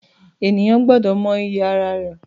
Ènìyàn gbọ́dọ̀ mọ iyì ara rẹ̀